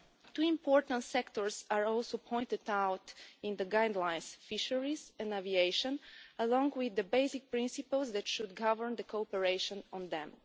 Two important sectors are also pointed out in the guidelines fisheries and aviation, along with the basic principles that should govern cooperation on them.